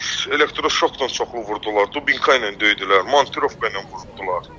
Elektroşokla çoxlu vurdular, dubinka ilə döydülər, montirovka ilə vurdular.